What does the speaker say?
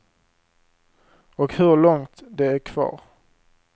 Och hur långt det är kvar.